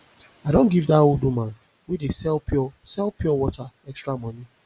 i don give dat old woman wey dey sell pure sell pure water extra money